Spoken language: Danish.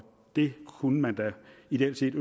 det kunne man da ideelt set